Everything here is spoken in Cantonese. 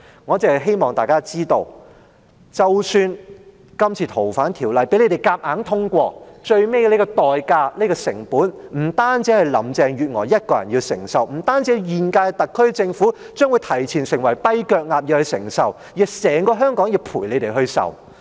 我只希望大家知道，即使今次"逃犯條例"被你們強行通過，最終的代價、成本不單是林鄭月娥一人要承受，不單是現屆特區政府因提前成為"跛腳鴨"而要承受，而是整個香港也要陪你們一同承受。